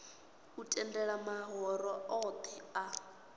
u tendela mahoro othe a